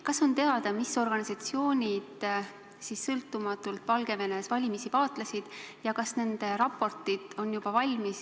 Kas on teada, mis organisatsioonid sõltumatult Valgevenes valimisi vaatlesid ja kas nende raportid on juba valmis?